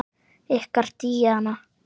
Ykkar Díana.